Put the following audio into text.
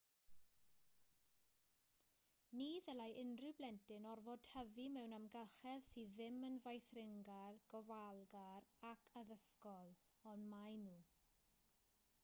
ni ddylai unrhyw blentyn orfod tyfu mewn amgylchedd sydd ddim yn feithringar gofalgar ac addysgol ond maen nhw